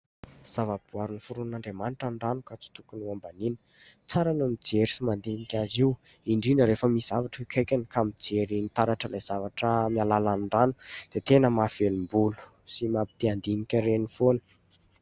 Zava-boary noforonin'Andriamanitra ny rano ka tsy tokony ho hambaniana. Tsara ny mijery sy mandinika azy io ; indrndra rehefa misy zavatra eo akaikiny ka mijery ny taratr'ilay zavatra amin'ny alalan'ny rano dia tena mahavelom-bolo sy mampite- handinika ireny foana.